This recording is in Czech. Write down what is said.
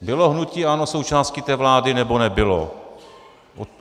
Bylo hnutí ANO součástí té vlády, nebo nebylo?